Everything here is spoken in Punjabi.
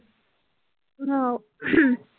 ਆਹੋ